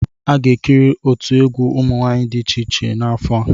A ga-ekiri otu egwu ụmụ nwanyị dị iche iche n'afọ a.